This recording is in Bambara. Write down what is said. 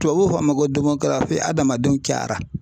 Tubabu fɔ a ma ko adamadenw caya